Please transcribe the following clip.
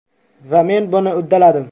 Va men buni uddaladim”.